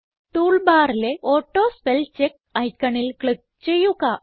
tool ബാറിലെ auto spell check ഐക്കണിൽ click ചെയ്യുക